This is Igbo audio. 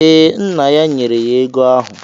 Ee, nna ya nyere ya ego ahụ.